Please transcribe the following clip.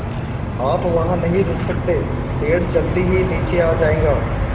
आप वहाँ नहीं रुक सकते पेड़ जल्दी ही नीचे आ जाएगा